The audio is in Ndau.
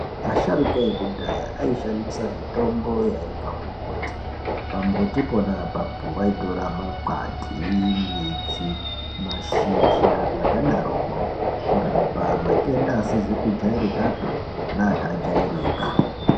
Asharuka ekudhaya ayishandisa mitombo yaibva kumbuti, pambuti pona apapo, vayitora makwati, midzi, mashizha zvakadaroko, kurapa matenda asizi kujayirikapi neakajayirika.